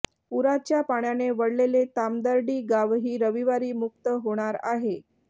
पूराच्या पाण्याने वेढलेले तामदर्डी गावही रविवारी मुक्त होणार आहे